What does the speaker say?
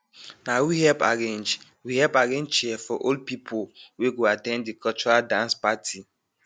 na we help arrange we help arrange chair for old pipu wey go at ten d de cultural dance parti